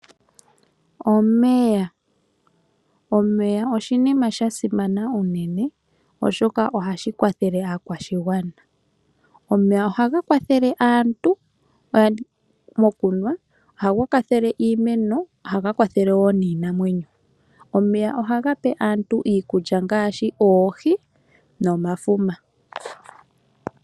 Omeya oshinima sha simana unene oshoka ohashi kwathele aakwashigwana, omeya ohaga kwathele aantu mokunwa oha kwathele iimeno niinamwenyo. Omeya ohaga pe aantu ookulya ngaashi oohi nomafuma.